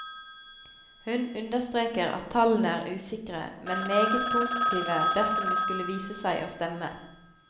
Hun understreker at tallene er usikre, men meget positive dersom de skulle vise seg å stemme.